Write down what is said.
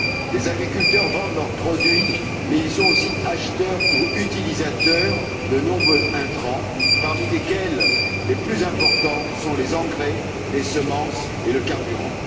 Les agriculteurs vendent leurs produits mais ils sont aussi acheteurs ou utilisateurs de nombreux intrants, parmi lesquels les plus importants sont les engrais, les semences et le carburant.